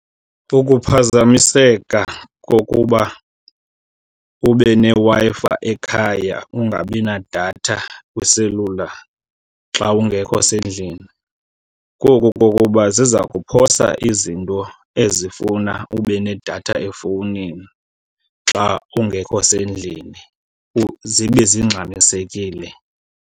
Ukuphazamiseka kokuba ube neWi-Fi ekhaya ungabi nadatha kwiselula xa ungekho sendlini koku kokuba ziza kuphosa izinto ezifuna ube nedatha efowunini xa ungekho sendlini zibe zingxamisekile.